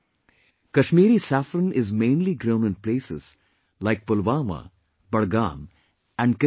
Kashmiri saffron is mainly grown in places like Pulwama, Budgam and Kishtwar